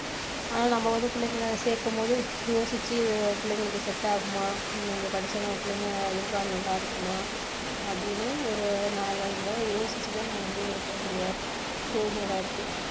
ஆனா நம்ம வந்து பிள்ளைகளை சேக்கும் போது யோசிச்சு இது பிள்ளைகளுக்கு set இங்க படிச்சா நம்ம பிள்ளைங்க எதிர்காலம் நல்லா இருக்குமா அப்படின்னு ஒரு நாலஞ்சு தடவை யோசிச்சு தான் நம்ம முடிவு எடுக்க வேண்டிய சூழ்நிலை இருக்கு